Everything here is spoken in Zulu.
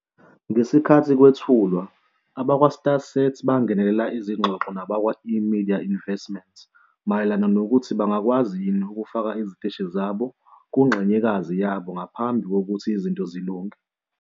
Ngesikhathi kwethulwa, abakwaStarSat bangenele izingxoxo nabakwa-eMedia Investments mayelana nokuthi bangakwazi yini ukufaka iziteshi zabo kungxenyekazi yabo ngaphambi kokuthi izinto zilunge.